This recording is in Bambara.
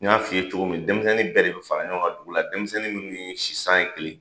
N y'a f'i ye cogo min denmisɛnnin bɛɛ de bi fara ɲɔgɔn kan dugu la denmisɛnnin minnu sisan ye kelen ye